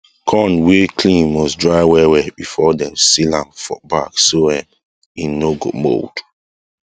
corn wey clean must dry well well before dem seal am for bag so um that e no go mould